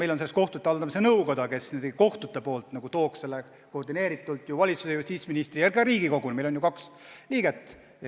Meil on selleks kohtute haldamise nõukoda, kes kohtute nimel edastab koordineeritult ettepanekuid justiitsministrile ja kogu valitsusele ja ka Riigikogule.